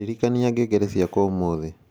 ndirikania ngengere ciakwa ũmuthĩ